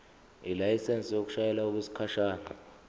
ilayisensi yokushayela okwesikhashana